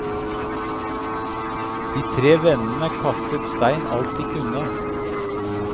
De tre vennene kastet stein alt de kunne.